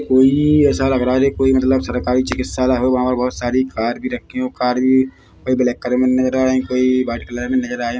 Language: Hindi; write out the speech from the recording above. कोई ऐसा लग रहा हैजैसे कोई मतलब सरकारी चिकित्सालय होगा और बहुत सारी कार भी रखी हो कार भी कोई ब्लैक कलर मे नजर आ रहे हैकोई व्हाइट कलर मे नजर आ रहे है।